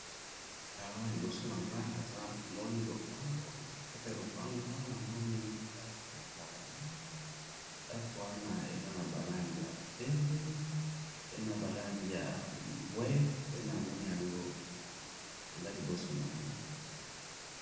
awa na liboso nanga naza mona lopango na katikati ya lopango wana nazomona ndaku mulayi ndaku wana eza naba langi ya pembe naba langi na mbwe nde eza lioso nanga